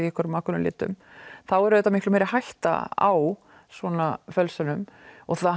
eitthvað ákveðnum litum þá er auðvitað miklu meiri hætta á svona fölsunum og það